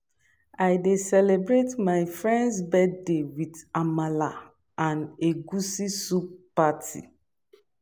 I dey celebrate my friend's birthday with amala and egusi soup party.